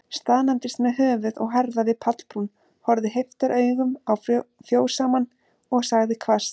Staðnæmdist með höfuð og herðar við pallbrún, horfði heiftaraugum á fjósamann, og sagði hvasst